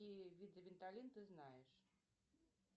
какие виды виталин ты знаешь